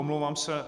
Omlouvám se.